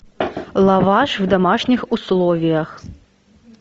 лаваш в домашних условиях